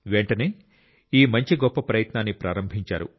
వెంటనే ఈ మంచి గొప్ప ప్రయత్నాన్ని ప్రారంభించారు